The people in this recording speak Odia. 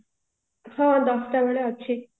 ହଁ ଦଶଟା ବେଳେ ଅଛି